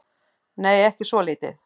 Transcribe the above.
Nei, ekki svolítið.